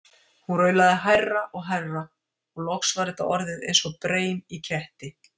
Hún raulaði hærra og hærra og loks var þetta orðið eins og breim í ketti.